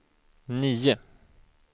nio